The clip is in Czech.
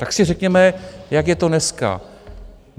Tak si řekněme, jak je to dneska.